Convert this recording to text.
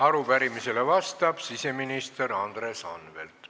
Arupärimisele vastab siseminister Andres Anvelt.